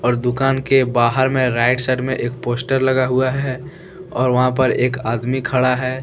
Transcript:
और दुकान के बाहर में राइट साइड में एक पोस्टर लगा हुआ है और वहां पर एक आदमी खड़ा है।